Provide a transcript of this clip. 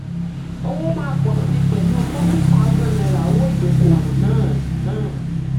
owó máa pọ̀ síi pẹ̀lú forty thousand owó ìdókòwò náà náà.